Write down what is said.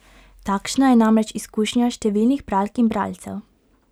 Takšna je namreč izkušnja številnih bralk in bralcev.